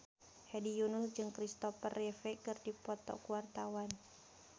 Hedi Yunus jeung Kristopher Reeve keur dipoto ku wartawan